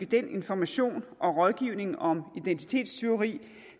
den information og rådgivning om identitetstyveri